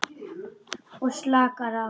Og slakar á.